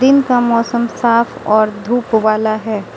दिन का मौसम साफ और धूप वाला है।